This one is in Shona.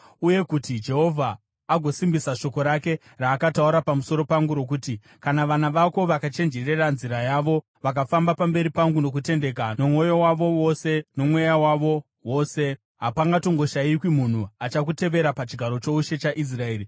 Uye kuti Jehovha agosimbisa shoko rake raakataura pamusoro pangu rokuti, ‘Kana vana vako vakachenjerera nzira yavo, vakafamba pamberi pangu nokutendeka, nomwoyo wavo wose, nomweya wavo wose, hapangashayikwi munhu achakutevera pachigaro choushe chaIsraeri.’